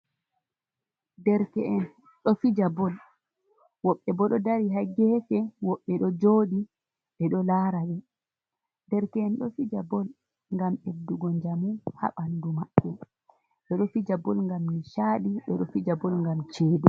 Derke'en ɗo fija bol, woɓɓe bo ɗo dari ha gefe, woɓɓe ɗo joɗi ɓe ɗo lara, be derke'en do fija bol, ngam ɓeddu go jamu ha bandu maɓɓe, ɓe ɗo fija bol gam ni chaadi, ɓe ɗo fija bol ngam cede